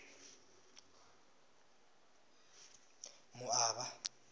moaba